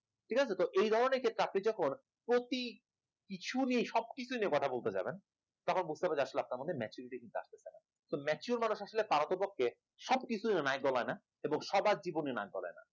ঠিক আছে তো এই ধরনের ক্ষেত্রে আপনি যখন প্রতি কিছু নিয়েই সবকিছু নিয়ে কথা বলতে যাবেন তখন বুঝতে হবে আসলে আপনার মধ্যে maturity কিন্তু আসতেছে না, তো mature মানুষ আসলে পারো তো পক্ষে সবকিছু নাক গলায় না এবং সবার জীবনে নাক গলায় না